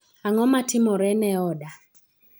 ang'o matimore ne oda